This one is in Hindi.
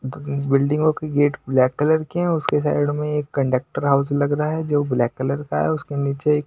बिल्डिंगों के गेट ब्लॅक कलर की है उसके साइड में एक कंडक्टर हाउस लग रहा है जो ब्लॅक कलर का है उसके नीचे --